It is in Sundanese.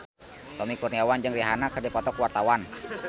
Tommy Kurniawan jeung Rihanna keur dipoto ku wartawan